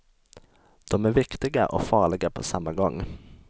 De är viktiga och farliga på samma gång.